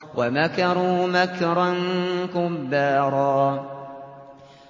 وَمَكَرُوا مَكْرًا كُبَّارًا